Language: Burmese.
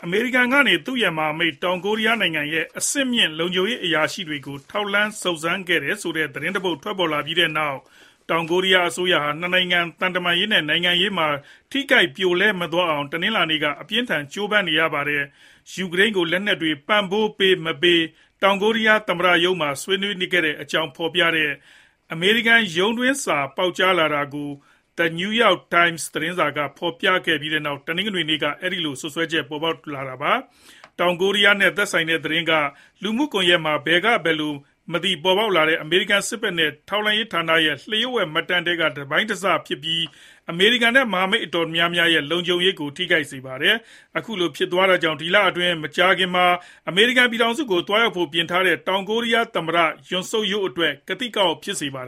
အမေရိကန်ကနေ သူရဲ့ မဟာမိတ်တောင်ကိုရီးယားနိုင်ငံရဲ့ အဆင့်မြင့်လုံခြုံရေးအရာရှိတွေကို ထောက်လှမ်းစုံစမ်းခဲ့တယ်ဆိုတဲ့ သတင်းတပုဒ် ထွက်ပေါ်လာပြီးနောက် တောင်ကိုရီးယားအစိုးရဟာ ၂ နိုင်ငံ သံတမန်ရေးနဲ့ နိုင်ငံရေးမှာ ထိခိုက်ပြိုလဲ မသွားအောင် တနင်္လာနေ့က အပြင်းအထန် ကြိုးပမ်းနေရပါတယ်။ယူကရိန်းကို လက်နက်တွေ ပံ့ပိုးပေး၊ မပေး တောင်ကိုရီးယားသမ္မတရုံးမှာ ဆွေးနွေးတဲ့အကြောင်းဖော်ပြတဲ့ အမေရိကန်ရုံးတွင်းစာ ပေါက်ကြားလာတာကို The New York Times သတင်းစာက ဖော်ပြပြီးနောက် တနင်္ဂနွေနေ့က အဲဒီလိုစွပ်စွဲချက် ပေါ်ထွက်လာတာပါ။ တောင်ကိုရီးယားနဲ့ သက်ဆိုင်တဲ့သတင်းက လူမှုကွန်ယက်ပေါ်မှာ ဘယ်ကဘယ်လိုမသိပေါ်ထွက်လာတဲ့ အမေရိကန်စစ်ဖက်နဲ့ ထောက်လှမ်းရေးဌာနတွေရဲ့ လျှို့ဝှက်မှတ်တမ်းတွေထဲက တစိတ်တပိုင်းလေးပဲဖြစ်ပြီး အမေရိကန်နဲ့ မဟာမိတ်တော်တော်များများရဲ့ အမျိုးသားလုံခြုံရေးကို ထိခိုက်စေပါတယ်။ အခုလိုဖြစ်သွားတာကြောင့်လည်း ဒီလအတွင်း မကြာခင်မှာ အမေရိကန်ပြည်ထောင်စုကို သွားရောက်ဖို့ ပြင်ဆင်ထားတဲ့ တောင်ကိုရီးယား သမ္မတ Yoon Suk Yeol အတွက် ကသိကအောင့်ဖြစ်စေပါတ